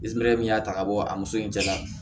min y'a ta ka bɔ a muso in jɛ la